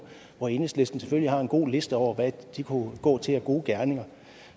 hvor enhedslisten selvfølgelig har en god liste over hvad de kunne gå til af gode gerninger